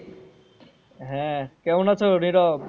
হ্যাঁ কেমন আছো নিরব?